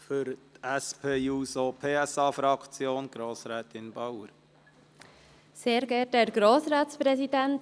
Für die SP-JUSO-PSA-Fraktion hat Grossrätin Bauer das Wort.